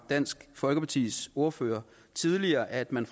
dansk folkepartis ordfører tidligere at man